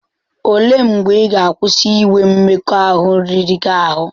O lee mgbe ị ga-akwụsị inwe mmekọahụ riri gị ahụ?